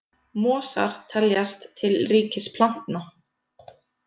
Mosar teljast til ríkis plantna.